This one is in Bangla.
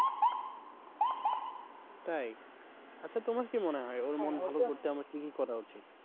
তাই! আচ্ছা তোমার কি মনে হয় ওর মন ভালো করতে আমার কি কি করা উচিত?